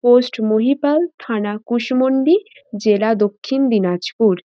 Post Mahipal থানা কুশমন্ডি জেলা দক্ষিন দিনাজপুর।